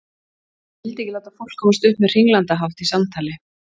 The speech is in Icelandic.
Hann vildi ekki láta fólk komast upp með hringlandahátt í samtali.